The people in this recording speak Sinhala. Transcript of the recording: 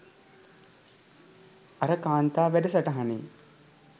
අර කාන්තා වැඩ සටහනේ